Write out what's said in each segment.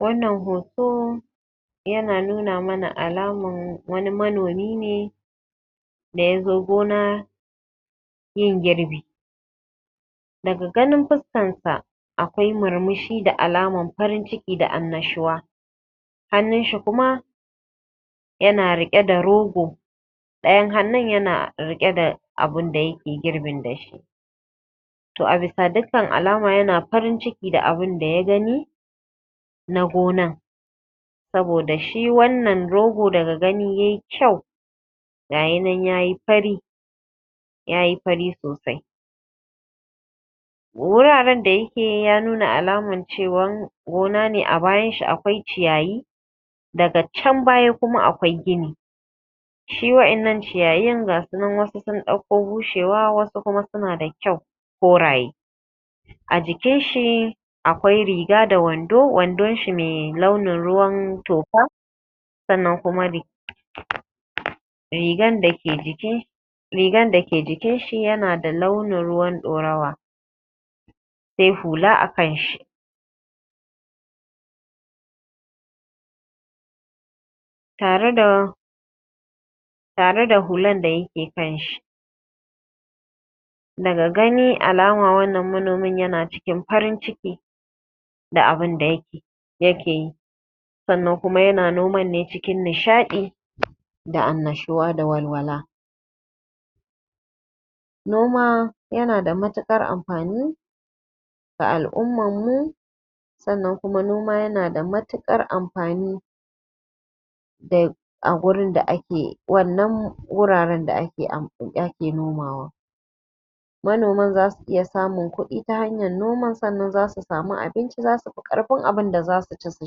wannan hoto yana nuna mana alaman wani manomi ne da ya zo gona yin girbi, Daga ganin fuskarsa akwai murmushi da alaman farin ciki da annashuwa. hannunshi kuma yana riƙe da rogo dayan hannun kuma yana riƙe da abinda yake yin girbin da shi. To a bisa dukkan alama yana farin ciki da abinda ya gani na gona saboda shi wannan rogo daga gani ya yi kyau ga ya nan ya yi fari ya yi fari sosai. Wuraren da ya ke ya nuna alaman cewa gona ne a bayanshi ya nuna akwai ciyayi daga can baya kuma akwai gini, shi waɗannan ciyayin gasu nan wassu sun ɗauko bushewa wassu kuma suna da kyau koraye a jikinshi akwai riga da wandon shi mai launin ruwan toka sannan kuma rigan da ke jikin shi rigan da ke jikin shi yana da launin ruwan ɗorawa sai hula akanshi tareda tareda huan da yake kanshi daga gani alama wannan manomin yana cikin farin ciki da abun da ya keyi sannan kuma yana noman ne cikin nishaɗi da anashuwa da walwala. Noma yana da matuƙar amfani ga al'ummar mu saʼannan kuma noma yana da matukar amfani da a wannan wuraren da ake nomawa. Manoman za su iya samun kuɗi ta hanyan noman saʼannan kuma za su sami abinci za su fi ƙarfin abinda za su ci su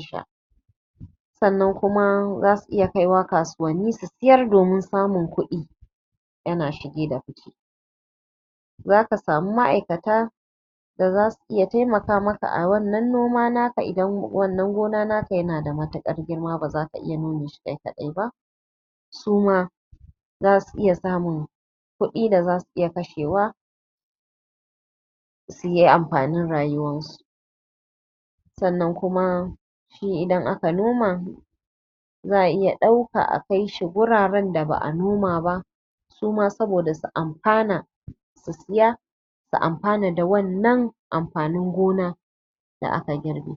sha sannan kuma za su iya kaiwa kasuwanni su sayar domin samun kuɗi yana shige da fuce. za ka sami maʼaikata a wannan noma naka idan wannan gona naka yana da matuƙar girma ba za ka iya nome shi kai kaɗai suma zaasu iya samun kudi da za su iya kashewa suyi amfanin rayuwarsu sannan kuma shi idan aka noma za a iya ɗaukan shi a kai shi wuraren da ba a noma ba suma saboda su amfana su iya su saya su amfana da wannan amfanin gona da aka girbe